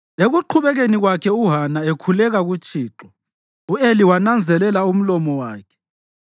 Ekuqhubekeni kwakhe uHana ekhuleka kuThixo, u-Eli wananzelela umlomo wakhe.